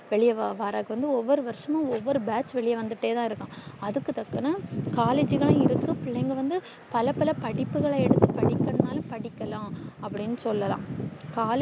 வெளிய வா வரது வந்து ஒவ்வொரு வருஷம்மு ஒவ்வொரு batch வெளிய வந்துட்டு தான் இருக்கா அதுக்கு தக்குன collage பிள்ளைங்க வந்து பல பல படிப்புகள எடுத்து படிக்கன்னனும் படிக்கில்லா அப்டின்னு சொல்லல்லா